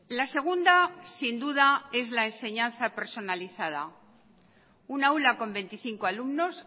la segunda sin duda es la enseñanza personalizada una aula con veinticinco alumnos